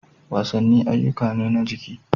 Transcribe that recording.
Wasanni ayyuka ne na jiki.